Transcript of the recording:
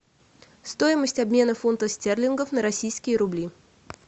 стоимость обмена фунтов стерлингов на российские рубли